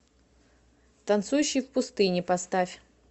танцующий в пустыне поставь